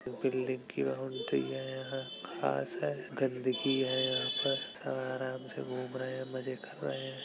Building कि boundary है | यहाँ घास है गन्दगी है यहाँ पर सब आराम से घूम रहें हैं मज़े कर रहें हैं।